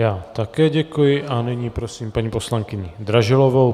Já také děkuji a nyní prosím paní poslankyni Dražilovou.